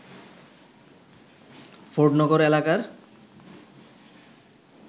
ফোর্ডনগর এলাকার